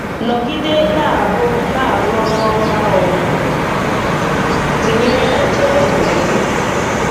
Nọgide na-arụ na-arụ ọrụ ọma O tinyere na njem ndụ gị!!!